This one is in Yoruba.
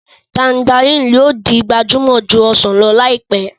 Tanjarínnì yóò di gbajúmọ̀ ju ọsàn lọ láìpẹ́